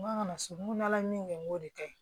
N ko a kana so n ko n'ala ye min kɛ n k'o de ka ɲi